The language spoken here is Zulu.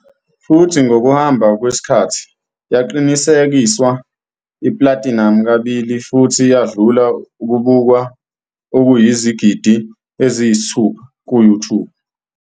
futhi ngokuhamba kwesikhathi yaqinisekiswa i-platinum kabili futhi yadlula ukubukwa okuyizigidi eziyisithupha ku-YouTube.